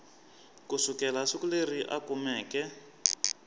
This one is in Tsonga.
kusukela siku leri a kumeke